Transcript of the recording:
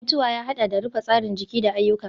mutuwa ya haɗa da rufe tsarin jiki da ayyuka.